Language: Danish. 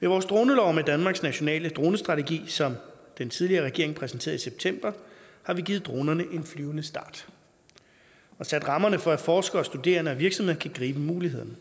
vores dronelov og danmarks nationale dronestrategi som den tidligere regering præsenterede i september har vi givet dronerne en flyvende start og sat rammerne for at forskere studerende og virksomheder kan gribe mulighederne